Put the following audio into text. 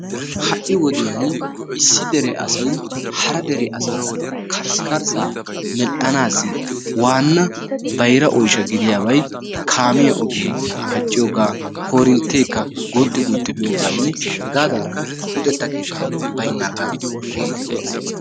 ha'i wodiyani issi wode asay hara dere ogiyara karssikarsaa medhana mala waana gaasoy kaamiya ogee pacciyoga, korinteeka baynaaga hegaadankka luxeta keetay baynaaga.